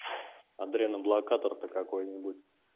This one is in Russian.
адреноблокатор то какой-нибудь